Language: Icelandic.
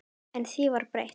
En því var breytt.